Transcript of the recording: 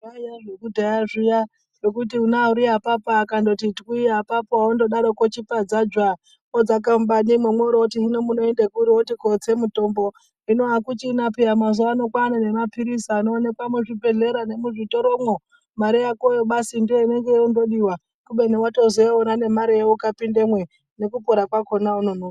Zvaiya zvekudhaya zviya zvokuti ona ariapapa akondoti twii apapo ondodaroko chipadza dzwaa vodzake mubanimwo oro voti munoende kuri moro oti kotse mutombo. Hino hakuchina peya mazuva kwane maphirisi anoonekwa muzvibhedhleya nemuzvitoromwo mare yakoyo basi ndiyo inenge yongodiva. Kubeni votozoiona nemareyo ukapindamwe nekupora kwakona haunonoki.